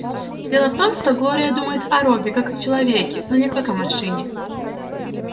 дело в том что глория думает о робби как о человеке но не как о машине